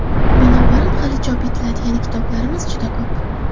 Binobarin, hali chop etiladigan kitoblarimiz juda ko‘p.